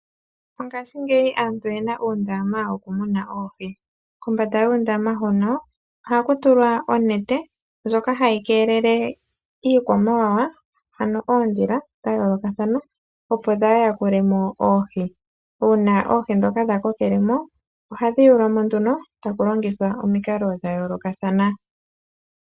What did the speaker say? Mongashingeyi aantu oyena oondama dhokumuna oohi, kombanda yoondama hono ohaku tulwa onete ndjoka hayi keelele iikwamawawa ano oondhila dha yoolokathana, opo dhaa yakule mo oohi, uuna oohi ndhoka dha ko kele mo ohadhi yuulwa mo nduno taku longithwa omikalo dha yoolokathana.